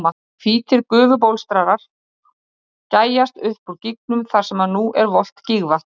Hvítir gufubólstrar gægjast upp úr gígnum þar sem nú er volgt gígvatn.